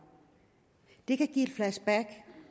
det kan give et flashback